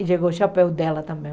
E chegou o chapéu dela também.